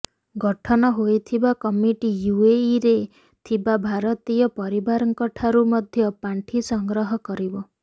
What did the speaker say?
ଗଠନ ହୋଇଥିବା କମିଟି ୟୁଏଇରେ ଥିବା ଭାରତୀୟ ପରିବାରଙ୍କଠାରୁ ମଧ୍ୟ ପାଣ୍ଠି ସଂଗ୍ରହ କରିବ